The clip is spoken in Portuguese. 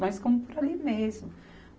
Nós ficamos por ali mesmo.